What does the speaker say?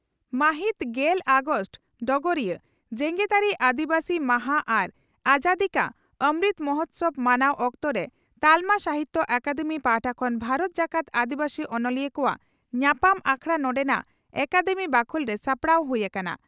ᱢᱟᱹᱦᱤᱛ ᱜᱮᱞ ᱟᱜᱚᱥᱴ (ᱰᱚᱜᱚᱨᱤᱭᱟᱹ) ᱺ ᱡᱮᱜᱮᱛᱟᱹᱨᱤ ᱟᱹᱫᱤᱵᱟᱹᱥᱤ ᱢᱟᱦᱟᱸ ᱟᱨ ᱟᱡᱟᱫᱤ ᱠᱟ ᱚᱢᱨᱩᱛ ᱢᱚᱦᱚᱛᱥᱚᱵᱽ ᱢᱟᱱᱟᱣ ᱚᱠᱛᱚᱨᱮ ᱛᱟᱞᱢᱟ ᱥᱟᱦᱤᱛᱭᱚ ᱟᱠᱟᱫᱮᱢᱤ ᱯᱟᱦᱴᱟ ᱠᱷᱚᱱ ᱵᱷᱟᱨᱚᱛ ᱡᱟᱠᱟᱛ ᱟᱹᱫᱤᱵᱟᱹᱥᱤ ᱚᱱᱚᱞᱤᱭᱟᱹ ᱠᱚᱣᱟᱜ ᱧᱟᱯᱟᱢ ᱟᱠᱷᱲᱟ ᱱᱚᱰᱮᱱᱟᱜ ᱟᱠᱟᱫᱮᱢᱤ ᱵᱟᱠᱷᱚᱞᱨᱮ ᱥᱟᱯᱲᱟᱣ ᱦᱩᱭ ᱟᱠᱟᱱᱟ ᱾